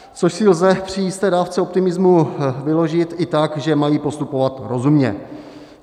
Což si lze při jisté dávce optimismu vyložit i tak, že mají postupovat rozumně.